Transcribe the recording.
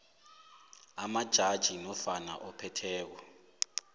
wamajaji nofana ophetheko